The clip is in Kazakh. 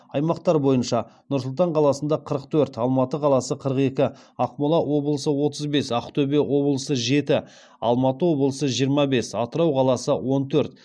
аймақтар бойынша нұр сұлтан қаласы қырық төрт алматы қаласы қырық екі ақмола облысы отыз бес ақтөбе облысы жеті алматы облысы жиырма бес атырау қаласы он төрт